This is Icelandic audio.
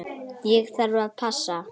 Ég þarf að passa.